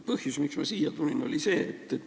Põhjus, miks ma siia tulin, on see.